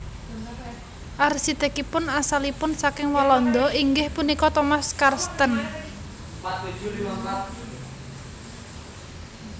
Arsitèkipun asalipun saking Walanda inggih punika Thomas Karsten